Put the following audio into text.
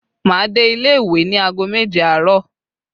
Máa dé ilé ìwé ní aago méje àárọ̀